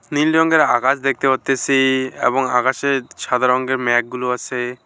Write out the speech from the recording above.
নীল রঙের আকাশ দেখতে পারতেছি এবং আকাশে সাদা রঙের মেঘগুলো আসে।